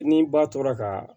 Ni ba tora ka